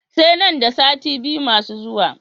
Sai nan da sati biyu masu zuwa.